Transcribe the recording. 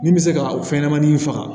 Min bɛ se ka o fɛnɲɛnɛmanin in faga